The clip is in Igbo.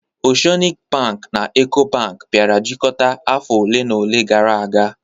Oceanic bank na Eco Bank bịara jikọta afọ ole na ole gara aga